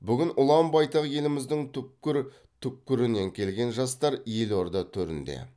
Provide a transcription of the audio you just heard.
бүгін ұлан байтақ еліміздің түпкір түпкірінен келген жастар елорда төрінде